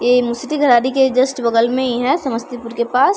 ये मुसरीधरारी के जस्ट बगल में ही है समस्तीपुर के पास।